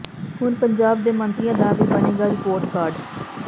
ਹੁਣ ਪੰਜਾਬ ਦੇ ਮੰਤਰੀਆਂ ਦਾ ਵੀ ਬਣੇਗਾ ਰਿਪੋਰਟ ਕਾਰਡ